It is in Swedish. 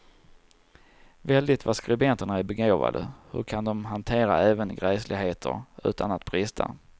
Väldigt vad skribenterna är begåvade, hur kan de hantera även gräsligheter utan att brista.